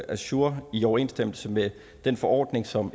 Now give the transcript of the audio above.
ajour i overensstemmelse med den forordning som